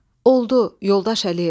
Oldu, yoldaş Əliyev.